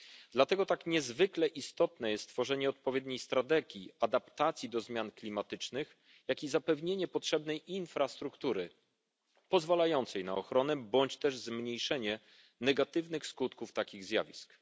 Dlatego tak niezwykle istotne jest stworzenie odpowiedniej strategii adaptacji do zmian klimatycznych, jak i zapewnienie potrzebnej infrastruktury pozwalającej na ochronę bądź też zmniejszenie negatywnych skutków takich zjawisk.